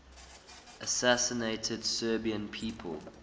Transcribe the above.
assassinated serbian people